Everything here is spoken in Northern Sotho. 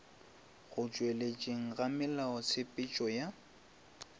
go tšweletšeng ga melaotshepetšo ya